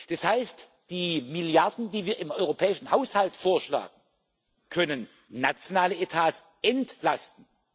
Das heißt Die Milliarden, die wir im europäischen Haushalt vorschlagen, können nationale Etats entlasten.